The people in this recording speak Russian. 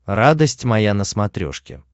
радость моя на смотрешке